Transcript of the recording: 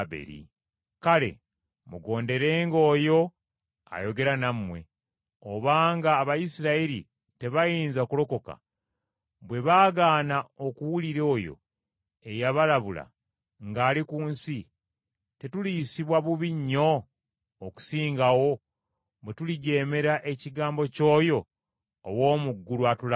Kale mugonderenga oyo ayogera nammwe. Obanga Abayisirayiri tebaayinza kulokoka, bwe baagaana okuwulira oyo eyabalabula ng’ali ku nsi, tetuliyisibwa bubi nnyo n’okusingawo, bwe tulijeemera ekigambo ky’oyo ow’omu ggulu atulabula?